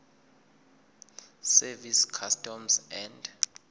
service customs and